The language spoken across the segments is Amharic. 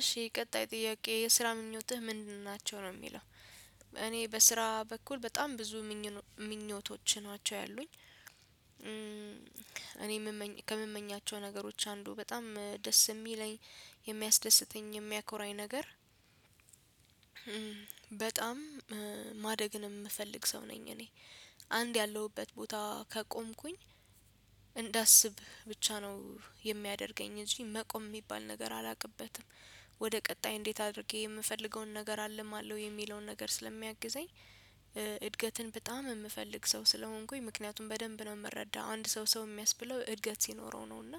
እሺ ቀጣይ ጥያቄ የስራ ምኞትህ ምንድን ናቸው ነው የሚለው? እኔ በስራ በኩል በጣም ብዙ እምመኘው ምኞቶች ናቸው ያሉኝ እኔ ከምመኛቸው ነገሮች አንዱ በጣም ደስ የሚለኝ የሚያስደስተኝ የሚያኮራኝ ነገር በጣም ማደግንም የምፈልግ ሰው ነኝ እኔ አንድ ያለሁበት ቦታ ከቆምኩኝ እንዳስብ ብቻ ነው የሚያደርገኝ እንጂ መቆም የሚባል ነገር አላቅበትም። ወደ ቀጣይ እንዴት አድርጌ የምፈልገውን ነገር አልማለሁ የሚለውን ነገር ስለሚያግዘኝ እድገትን በጣም የምፈልግ ሰው ስለሆንኩኝ ምክንያቱም በደንብ ነው የምረዳው አንድ ሰው ሰው የሚያስብለው እድገት ሲኖረው ነው እና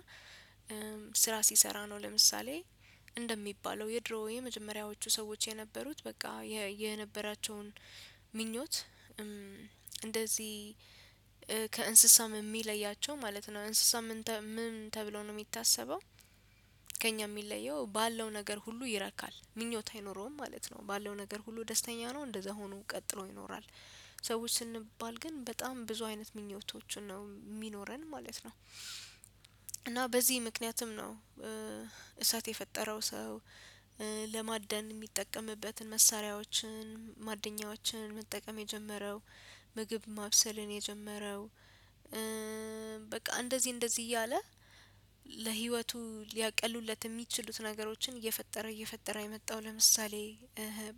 ስራ ሲሰራ ነው። ለምሳሌ እንደሚባለው የድሮውይ የመጀመሪያዎቹ ሰዎች የነበሩት በቃ የነበራቸውን ምኞት እንደዚህ ከእንስሳም የሚለያቸው ማለት ነው እንስሳም ምን ተብሎ ነው የሚታሰበው ከእኛ የሚለየው ባለው ነገር ሁሉ ይረካል ምኞት አይኖረውም ማለት ነው ባለው ነገር ሁሉ ደስተኛ ነው እንደዛ ሆኖ ቀጥሎ ይኖራል። ሰዎች ስንባል ግን በጣም ብዙ አይነት ምኞቶችን ነው የሚኖረን ማለት ነው። እና በዚህ ምክንያትም ነው እሳት የፈጠረው ሰው ለማደን የሚጠቀምበትን መሳሪያዎችን ማደኛዎችን መጠቀም የጀመረው ምግብ ማብሰልን የጀመረው በቃ እንደዚህ እንደዚህ እያለ ለህይወቱ ሊያቀሉለት የሚችሉትን ነገሮችን እየፈጠረ እየፈጠረ የመጣው ለምሳሌ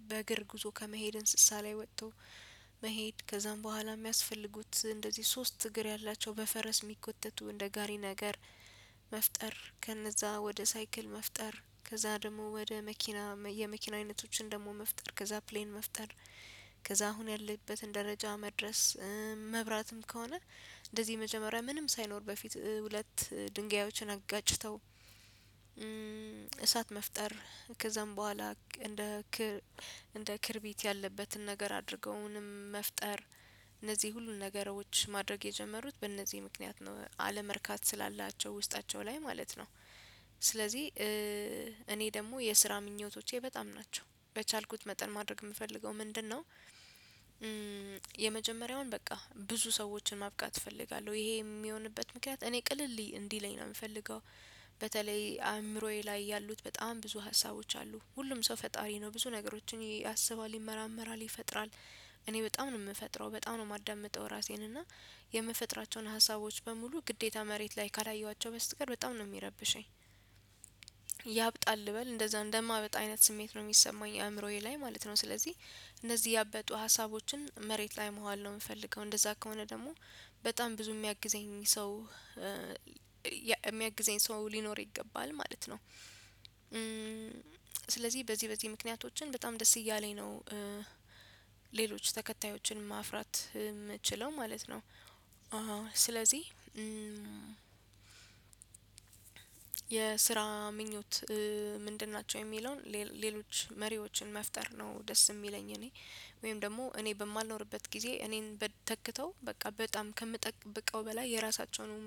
በእግር ጉዞ ከመሄድ እንስሳ ላይ ወጥቶ መሄድ ከዛም በኋላ የሚያስፈልጉት እንደዚህ ሶስት እግር ያላቸው በፈረስ የሚቆተቱ እንደ ጋሪ ነገር መፍጠር ከነዛ ወደ ሳይክል መፍጠር ከዛ ደግሞ ወደ መኪና የመኪና አይነቶችን ደግሞ መፍጠር ከዛ ፕሌን መፍጠር ከዛ አሁን ያለበትን ደረጃ መድረስ። መብራትም ከሆነ እንደዚህ መጀመሪያ ምንም ሳይኖር በፊት ሁለት ድንጋዮችን አጋጭተው እሳት መፍጠር ከዛም በኋላ እንደ እንደ ክርቢት ያለበትን ነገር አድርገውንም መፍጠር እነዚህ ሁሉ ነገሮች ማድረግ የጀመሩት በእነዚህ ምክንያት ነው አለመርካት ስላላቸው ውስጣቸው ላይ ማለት ነው። ስለዚህ እኔ ደግሞ የስራ ምኞቶቼ በጣም ናቸው በቻልኩት መጠን ማድረግ የምፈልገው ምንድነው? የመጀመሪያውን በቃ ብዙ ሰዎችን ማብቃት እፈልጋለሁ ይሄ የሚሆንበት ምክንያት እኔ ቅልል እንዲለኝ ነው የምፈልገው በተለይ አእምሮዬ ላይ ያሉት በጣም ብዙ ሀሳቦች አሉ ሁሉም ሰው ፈጣሪ ነው ብዙ ነገሮችን ያስባል ይመራመራል ይፈጥራል። እኔ በጣም ነው የምፈጥረው በጣም ነው የማዳምጠው ራሴን እና የምፈጥራቸውን ሀሳቦች በሙሉ ግዴታ መሬት ላይ ካላየኋቸው በስተቀር በጣም ነው የሚረብሸኝ ያብጣል በል እንደዛ እንደማበጥ አይነት ስሜት ነው የሚሰማኝ አእምሮዬ ላይ ማለት ነው። ስለዚህ እነዚህ ያበጡ ሀሳቦችን መሬት ላይ ማዋል ነው የምፈልገው እንደዛ ከሆነ ደግሞ በጣም ብዙ የሚያግዘኝ ሰው የሚያግዘኝ ሰው ሊኖር ይገባል ማለት ነው። በዚህ በዚህ ምክንያቶችን በጣም ደስ እያለኝ ነው ሌሎች ተከታዮችን ማፍራት የምትችለው ማለት ነው። አዎ ስለዚህ የ የስራ ምኞት ምንድን ናቸው የሚለውን ሌሎች መሪዎችን መፍጠር ነው። ደስ የሚለኝ እኔ ወይም ደግሞ እኔ በማልኖርበት ጊዜ እኔን በተክተው በቃ በጣም ከምጠብቀው በላይ የራሳቸውንም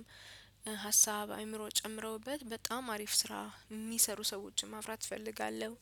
ሀሳብ አእምሮ ጨምረውበት በጣም አሪፍ ስራ የሚሰሩ ሰዎችን ማፍራት እፈልጋለሁ።